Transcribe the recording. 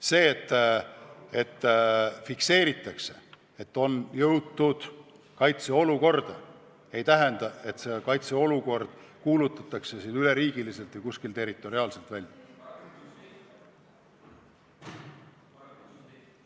See, et fikseeritakse, et on jõutud kaitseolukorda, ei tähenda, et see kuulutatakse üleriigiliselt või kuskil territoriaalselt välja.